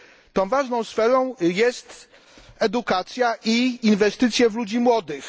Tą ważną sferą jest edukacja i inwestycje w ludzi młodych.